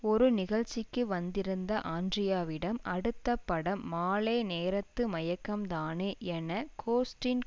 ஒரு நிகழ்ச்சிக்கு வந்திருந்த ஆண்ட்ரியாவிடம் அடுத்த படம் மாலே நேரத்து மயக்கம்தானே என கொஸ்டீன்